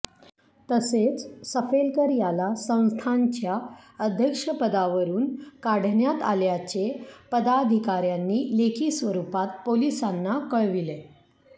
तसेच सफेलकर याला संस्थांच्या अध्यक्षपदावरून काढण्यात आल्याचे पदाधिकाऱ्यांनी लेखी स्वरुपात पोलिसांना कळविले